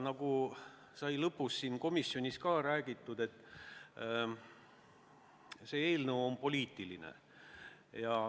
Nagu ka komisjonis kõlas, see eelnõu on poliitiline.